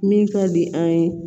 Min ka di an ye